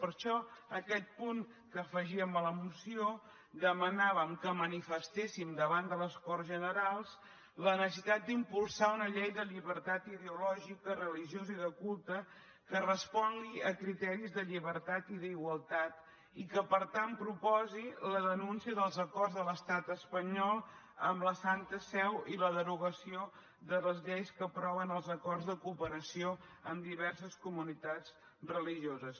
per això en aquest punt que afegíem a la moció demanàvem que manifestéssim davant de les corts generals la necessitat d’impulsar una llei de llibertat ideològica religiosa i de culte que respongui a criteris de llibertat i d’igualtat i que per tant proposi la denúncia dels acords de l’estat espanyol amb la santa seu i la derogació de les lleis que aproven els acords de cooperació amb diverses comunitats religioses